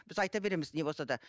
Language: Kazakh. біз айта береміз не болса да